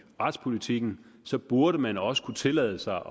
retspolitikken så burde man også kunne tillade sig